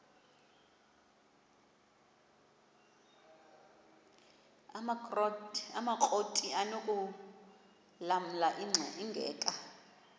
amakrot anokulamla ingeka